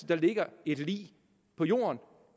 der ligger et lig på jorden